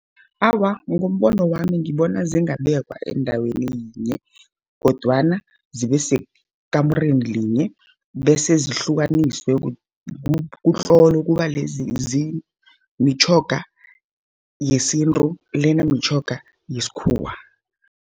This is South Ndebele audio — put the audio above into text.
Awa, ngombono wami ngibona zingabekwa endaweni yinye, kodwana zibe sekamureni yinye, bese zihlukaniswe kutlolwe kubalezi mitjhoga yesintu lena mitjhoga yesikhuwa.